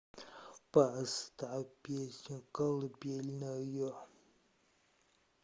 поставь песню колыбельную